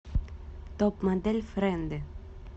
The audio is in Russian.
топ модель френды